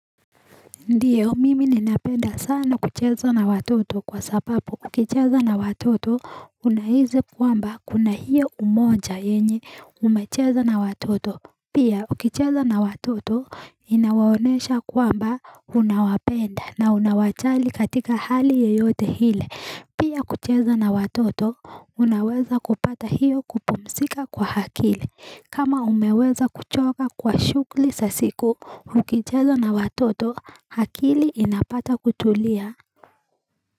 Ndiyo mimi ninapenda sana kucheza na watoto kwa sababu ukicheza na watoto unaisit kwamba kuna hiyo umoja yenye umecheza na watoto Pia ukicheza na watoto inawonesha kwamba unawapenda na unawajali katika hali yeyote ile Pia kucheza na watoto unaweza kupata hiyo kupumzika kwa akili kama umeweza kuchoka kwa shughuli za siku ukicheza na watoto akili inapata kutulia.